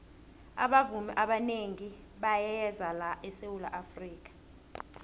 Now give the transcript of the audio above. abavumi abanengi bayeza la esawula afrika